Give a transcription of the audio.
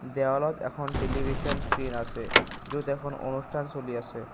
দেৱালত এখন television screen আছে য'ত এখন অনুষ্ঠান চলি আছে।